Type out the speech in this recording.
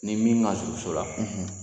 Ni min ka surun so la